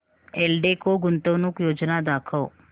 एल्डेको गुंतवणूक योजना दाखव